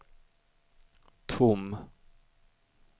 tom